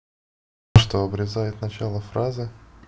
что обрезает начало фразы